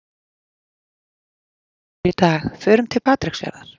Ekkert veiðiveður í dag, förum til Patreksfjarðar.